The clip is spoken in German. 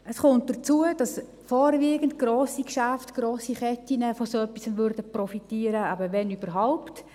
Hinzu kommt, dass vorwiegend grosse Geschäfte, grosse Ketten von so etwas profitieren würden, wenn überhaupt.